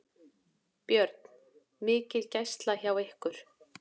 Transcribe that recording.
Björn: Mikil gæsla hjá ykkur?